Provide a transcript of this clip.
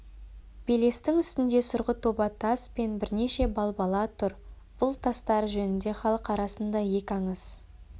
белестің үстінде сұрғыт оба тас пен бірнеше балбала тұр бұл тастар жөнінде халық арасында екі аңыз